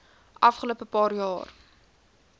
afgelope paar jaar